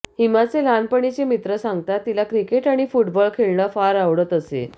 हिमाचे लहानपणीचे मित्र सांगतात तिला क्रिकेट आणि फुटबॉल खेळणं फार आवडत असे